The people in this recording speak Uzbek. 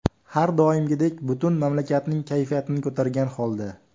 Har doimgidek butun mamlakatning kayfiyatini ko‘targan holda.